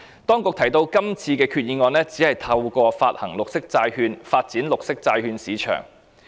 當局提到今次的決議案只是透過發行綠色債券，發展綠色債券市場。